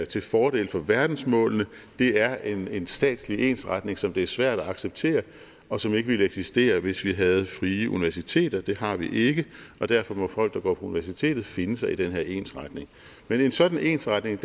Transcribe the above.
til fordel for verdensmålene det er en en statslig ensretning som det er svært at acceptere og som ikke ville eksistere hvis vi havde frie universiteter det har vi ikke og derfor må folk der går på universitetet finde sig i den her ensretning men en sådan ensretning